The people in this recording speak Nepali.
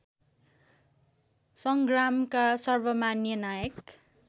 सँग्रामका सर्वमान्य नायक